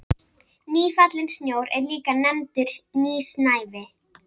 Nýfallinn snjór er líka nefndur nýsnævi.